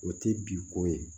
O tɛ bi ko ye